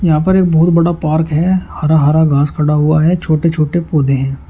यहां पर एक बहुत बड़ा पार्क है हरा हरा घास खड़ा हुआ है छोटे छोटे पौधे हैं।